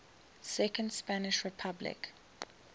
second spanish republic